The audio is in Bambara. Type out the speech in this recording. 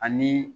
Ani